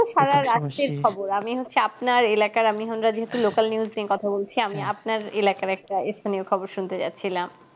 খবর আমি হচ্ছি আপনার এলাকার আমি ওখান কার যেহেতু local news নিয়ে কথা বলছি আমি আপনার এলাকার একটা স্থানীয়খবর শুনতে যাচ্ছিলাম